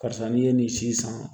Karisa n'i ye nin si san